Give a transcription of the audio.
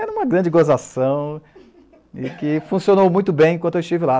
Era uma grande gozação e que funcionou muito bem enquanto eu estive lá.